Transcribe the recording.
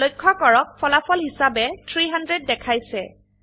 লক্ষ্য কৰক ফলাফল হিসাবে 300 দেখাইছে